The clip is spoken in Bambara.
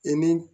I ni